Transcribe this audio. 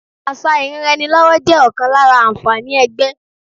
Àṣà ìranraẹnilọ́wọ́ jẹ́ ọ̀kan lára àǹfààní ẹgbẹ́